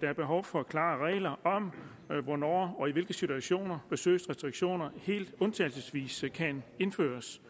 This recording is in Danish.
der er behov for klare regler om hvornår og i hvilke situationer besøgsrestriktioner helt undtagelsesvis kan indføres